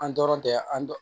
An dɔrɔn tɛ an